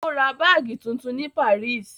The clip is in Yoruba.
Ó ra báágì tuntun ní Paris.